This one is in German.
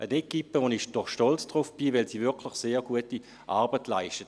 Eine Equipe, auf die ich stolz bin, weil sie wirklich sehr gute Arbeit leistet.